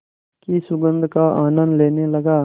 की सुगंध का आनंद लेने लगा